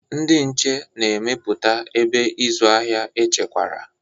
Ndị nche na-emepụta ebe ịzụ ahịa echekwara.